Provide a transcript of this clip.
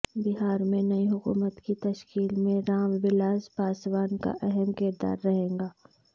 بہار میں نئی حکومت کی تشکیل میں رام ولاس پاسوان کا اہم کردار رہے گا